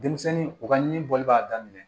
Denmisɛnnin u ka ɲi bɔli b'a daminɛ